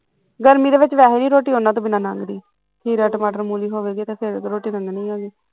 ਗਰਮੀ ਦੇ ਵਿੱਚ ਵੈਸੇ ਵੀ ਰੋਟੀ ਉਹਨਾਂ ਤੋਂ ਬਿਨਾਂ ਨੀ ਲੰਘਦੀ ਖੀਰਾ ਟਮਾਟਰ ਮੂਲੀ ਹੋਵੇ ਤਵ ਫੇਰ ਰੋਟੀ ਲੰਘਣੀ ਐਗੀ